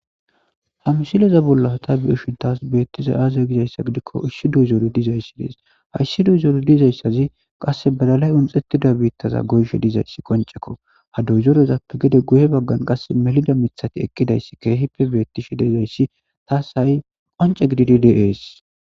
ha msileza bollata bi7ishutas beettiza aaziya gizayssa gidikko isshi duuzoori dizayssi dees hayssi duyzoori dizayssazi qasse balalay unxettida biittaza goyshe dizayssi qoncekko ha duzorezappe gede guye baggan qasse melida mithati ekkidayssi keehipe beettishi dezayssi taas ha7i qonce gididi diees